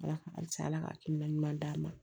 Ala ka halisa ala ka hakilina ɲuman ɲuman d'a ma